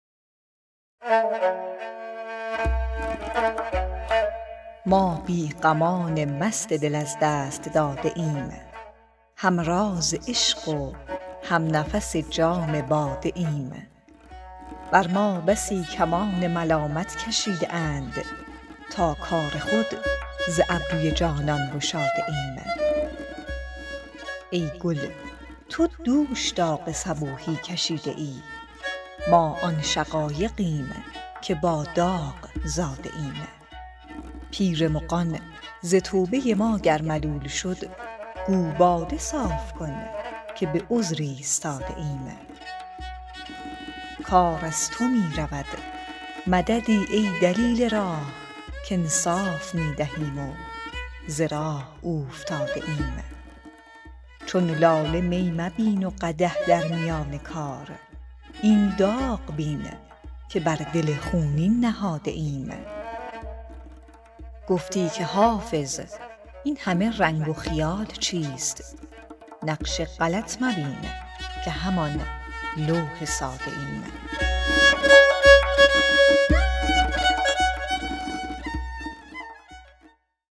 ما بی غمان مست دل از دست داده ایم هم راز عشق و هم نفس جام باده ایم بر ما بسی کمان ملامت کشیده اند تا کار خود ز ابروی جانان گشاده ایم ای گل تو دوش داغ صبوحی کشیده ای ما آن شقایقیم که با داغ زاده ایم پیر مغان ز توبه ما گر ملول شد گو باده صاف کن که به عذر ایستاده ایم کار از تو می رود مددی ای دلیل راه کانصاف می دهیم و ز راه اوفتاده ایم چون لاله می مبین و قدح در میان کار این داغ بین که بر دل خونین نهاده ایم گفتی که حافظ این همه رنگ و خیال چیست نقش غلط مبین که همان لوح ساده ایم